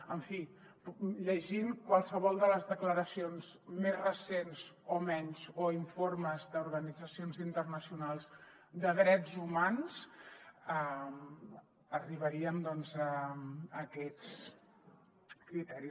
en fi llegint qualsevol de les declaracions més recents o menys o informes d’organitzacions internacionals de drets humans arribaríem a aquests criteris